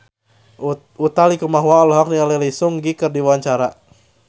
Utha Likumahua olohok ningali Lee Seung Gi keur diwawancara